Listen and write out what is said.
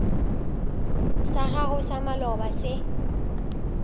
sa gago sa maloba se